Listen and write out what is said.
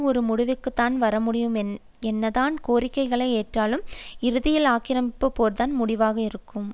ஒரு முடிவுக்குத்தான் வரமுடியும் என்னதான் கோரிக்கைகளை ஏற்றாலும் இறுதியில் ஆக்கிரமிப்பு போர்தான் முடிவாக இருக்கும்